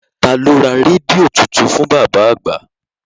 Taa ló ra rédíò tuntun fún bàbá àgbà?